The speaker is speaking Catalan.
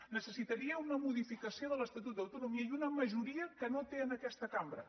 necessitaria una modificació de l’estatut d’autonomia i una majoria que no té en aquesta cambra